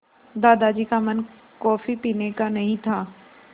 दादाजी का मन कॉफ़ी पीने का नहीं था